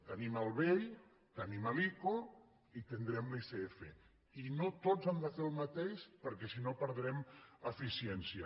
tenim el bei tenim l’ico i tindrem l’icf i no tots han de fer el mateix perquè si no perdrem eficiència